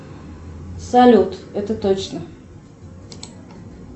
салют это точно